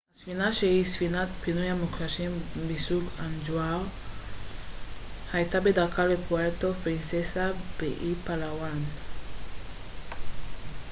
הספינה שהיא ספינת פינוי מוקשים מסוג אוונג'ר הייתה בדרכה לפוארטו פרינססה באי פאלאוואן